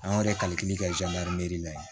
Anw yɛrɛ kalikuru kɛ zuwɛri ne la yen